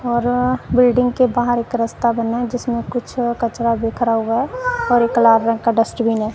और बिल्डिंग के बाहर एक रास्ता बना जिसमें कुछ कचरा बिखरा हुआ है और एक लाल रंग का डस्टबिन है।